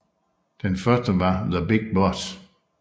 Den første var The Big Boss